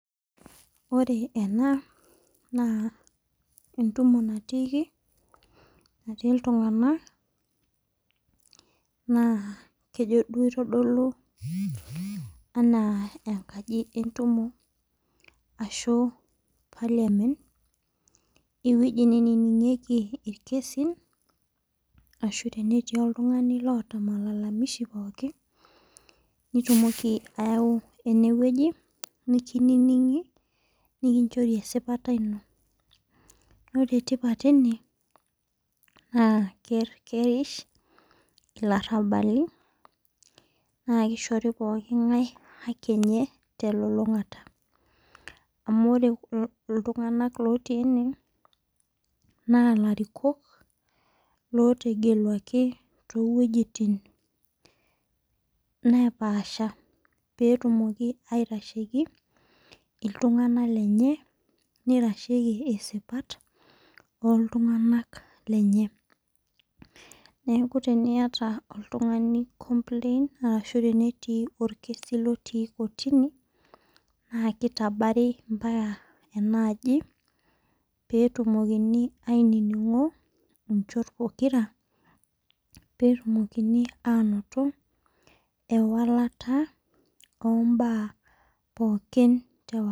Ore ena naa entumo natiiki natii iltung'ana naa kejo duo aitodolu enaa enkaji entumo ashu Parliament eweji niningieki irkesin ashu teneti oltung'ani loota malalamishi pookin nitumoki ayau eneweji nikinining'i nikinchori esipata inom naa ore tipat ene naa kerish ilarbali naa kishori pookin haki enye te lolong'ata amu ore iltung'ana oti ene naa ilarikook lotegeluaki too wejitin napasha petumoki aitasheki iltung'ana lenye nitasheki isipat oltung'ana lenyenak. Neeku teniyata oltung'ani complain arashu tenitii orkesi lootu kortuni naa kitabari ompaka ena aji nitejo alo inchot pokira petumokini anoto ewalata obaa pokin tewa.